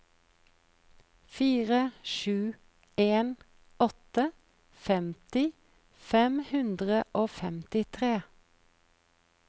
fire sju en åtte femti fem hundre og femtitre